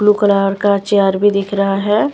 Blue colour का chair भी दिख रहा है।